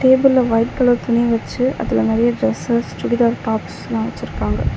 டேபிள்ல white colour துணி வச்சு அதுல நெறைய டிரெசஸ் சுடிதார் டாப்ஸ்லா வச்சுருக்காங்க.